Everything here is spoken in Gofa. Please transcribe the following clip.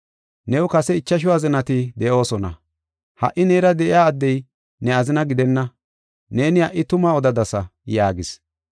New kase ichashu azinati de7oosona. Ha77i neera de7iya addey ne azina gidenna. Neeni ha77i tuma odadasa” yaagis.